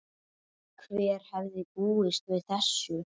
Hver hefði búist við þessu??